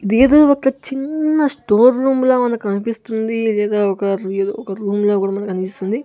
ఇది ఏదో ఒక చిన్న స్టోర్ రూమ్ లా ఉంది కనిపిస్తుంది లేదా ఒక ఏదో ఒక రూమ్ రూమ్ లా కూడా కనిపిస్తుంది.